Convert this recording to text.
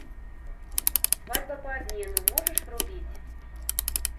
свадьба по обмену можешь врубить